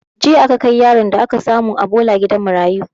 Jiya aka kai yaron da aka samu a bola gidan marayu